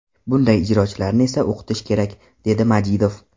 Bunday ijrochilarni esa o‘qitish kerak”, dedi Majidov.